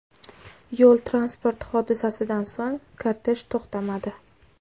Yo‘l-transport hodisasidan so‘ng kortej to‘xtamadi.